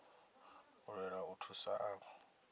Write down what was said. u lwela u thusa avho